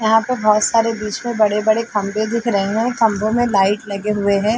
यहाँ पे बहोत सारे बीच में बड़े-बड़े खम्भे दिख रहे है खम्भों में लाइट लगे हुए है।